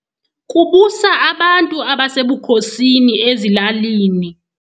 Kubusa abantu abasebukhosini ezilalini.